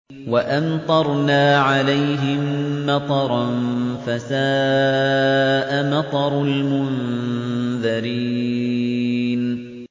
وَأَمْطَرْنَا عَلَيْهِم مَّطَرًا ۖ فَسَاءَ مَطَرُ الْمُنذَرِينَ